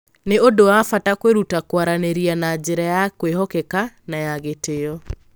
Nĩ ũndũ wa bata kwĩruta kwaranĩria na njĩra ya kwĩhokeka na ya gĩtĩo.